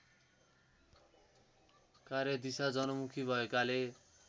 कार्यदिशा जनमुखी भएकाले